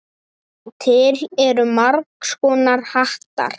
Til eru margs konar hattar.